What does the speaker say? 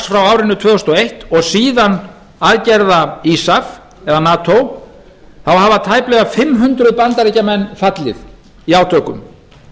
frá árinu tvö þúsund og eins og síðan aðgerða eða nato hafa tæplega fimm hundruð bandaríkjamenn fallið í átökum